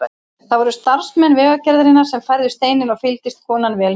Það voru starfsmenn Vegagerðarinnar sem færðu steininn og fylgdist konan vel með.